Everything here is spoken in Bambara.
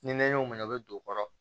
Ni nɛɲɛ y'o minɛ a bi don o kɔrɔ